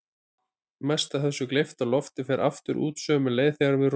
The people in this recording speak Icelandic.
Mest af þessu gleypta lofti fer aftur út sömu leið þegar við ropum.